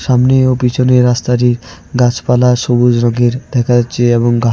সামনে ও পিছনের রাস্তাটির গাছপালা সবুজ রঙের দেখা যাচ্ছে এবং ঘাসে--